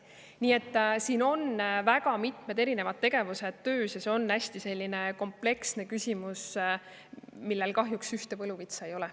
Nii et väga mitmed erinevad tegevused on töös, aga see on selline hästi kompleksne küsimus, mille lahendamiseks kahjuks ühte võluvitsa ei ole.